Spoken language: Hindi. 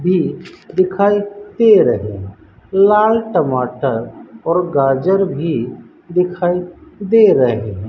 भी दिखाई दे रही है लाल टमाटर और गाजर भी दिखाई दे रहे हैं।